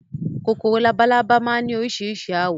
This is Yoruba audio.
Kòkòrò labalábá máa ni orísirísi àwọ̀